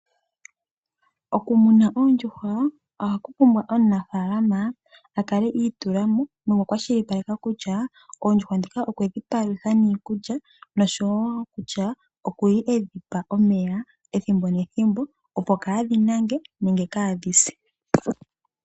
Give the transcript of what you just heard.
Okumuna oondjuhwa ohaku pumbwa omunafaalama a kale a itula mo nokwa kwashilipaleka kutya oondjuhwa ndhika okwe dhi palutha niikulya, no sho wo kutya oku li e dhi pa omeya opo kaa dhi nange nenge kaa dhi se.